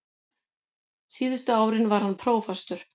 Síðustu árin var hann prófastur.